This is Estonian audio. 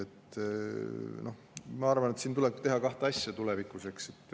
Ega me kõike siin täna kohapeal ära ei lahenda.